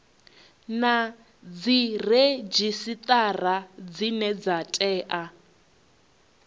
na dziredzhisitara dzine dza tea